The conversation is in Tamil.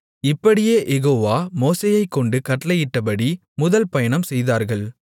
இப்படியே யெகோவா மோசேயைக் கொண்டு கட்டளையிட்டபடி முதல் பயணம் செய்தார்கள்